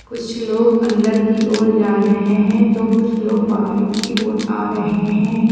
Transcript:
कुछ लोग अंदर की ओर जा रहे हैं तो कुछ लोग बाहर की ओर आ रहे हैं।